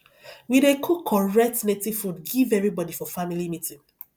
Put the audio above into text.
we dey cook correct native food give everybodi for family meeting